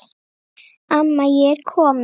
Amma ég er komin